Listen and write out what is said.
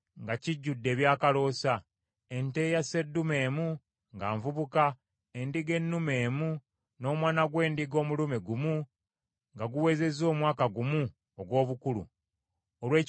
ente eya sseddume emu nga nvubuka, endiga ennume emu, n’omwana gw’endiga omulume gumu nga guwezezza omwaka gumu ogw’obukulu, olw’ekiweebwayo ekyokebwa;